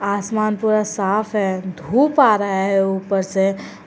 आसमान पूरा साफ है धूप आ रहा है ऊपर से।